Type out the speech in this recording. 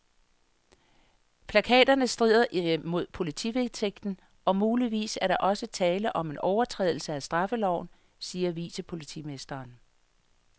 Plakaterne strider mod politivedtægten, og muligvis er der også tale om en overtrædelse af straffeloven, siger vicepolitimesteren.